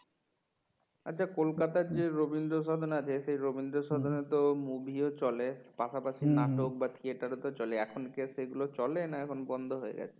আচ্ছা কলকাতায় যে রবীন্দ্রসদন আছে সেই রবীন্দ্রসদনে তো movie ও চলে পাশাপাশি নাটক বা theater ও তো চলে এখন কি আর সেগুলো চলে না এখন বন্ধ হয়ে গেছে